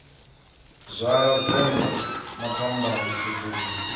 zwala vengo na phambano khethululo